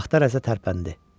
Taxta rəzə tərpəndi.